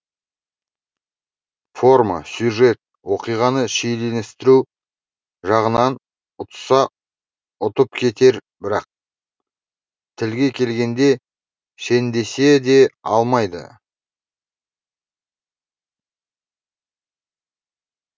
форма сюжет оқиғаны шиеленістіру жағынан ұтса ұтып кетер бірақ тілге келгенде шендесе де алмайды